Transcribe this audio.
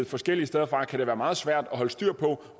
forskellige steder fra så kan det være meget svært at holde styr på